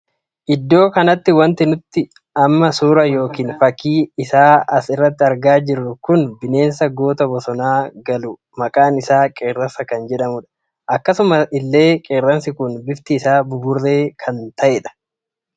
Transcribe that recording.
Iddoo kanatti wanti nuti amma suuraa yookiin fakkii isaa as irratti argaa jirru kun bineensa goota bosona galuu maqaan isaa qeerransaa kan jedhamudha. akkasuma illee qeerransi kun bifti isaa buburree kan tahedha.